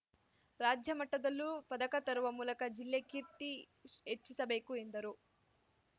ರಾಜ್ಯ ಮಟ್ಟದಲ್ಲೂ ಪದಕ ತರುವ ಮೂಲಕ ಜಿಲ್ಲೆ ಕೀರ್ತಿ ಹೆಚ್ಚಿಸಬೇಕು ಎಂದರು